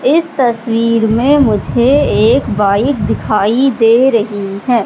इस तस्वीर में मुझे एक बाइक दिखाई दे रही है।